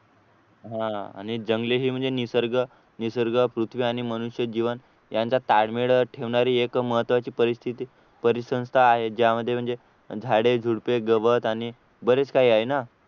हा आणि जंगले ही म्हणजे निसर्ग निसर्ग पृथ्वी आणि मनुष्यजीवन यांचा ताळमेळ ठेवणारी एक महत्त्वाची परिस्थिती परिसंस्था आहे ज्यामध्ये म्हणजे झाडे झुडपे गवत आणि बरेच काही आहे ना